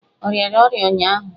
Ọ rịara ọrịa ụnyụahụ?